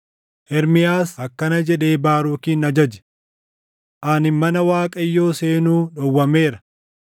Ermiyaas akkana jedhee Baarukin ajaje; “Ani mana Waaqayyoo seenuu dhowwameera.